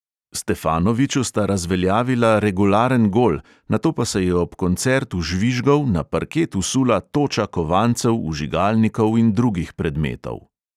Stefanoviću sta razveljavila regularen gol, nato pa se je ob koncertu žvižgov na parket vsula toča kovancev, vžigalnikov in drugih predmetov.